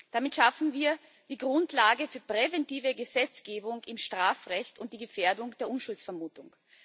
Damit schaffen wir die Grundlage für präventive Gesetzgebung im Strafrecht und die Gefährdung der Unschuldsvermutung.